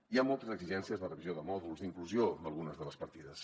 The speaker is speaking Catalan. hi ha moltes exigències de revisió de mòduls d’inclusió d’algunes de les partides